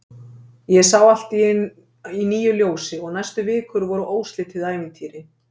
Ég sá allt í nýju ljósi og næstu vikur voru óslitið ævintýri.